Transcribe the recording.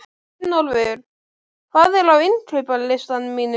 Runólfur, hvað er á innkaupalistanum mínum?